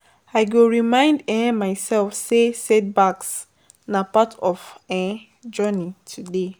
I go remind um myself say setbacks na part of my um journey today.